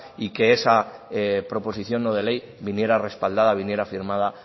y que esa proposición no de ley viniera respaldada viniera firmada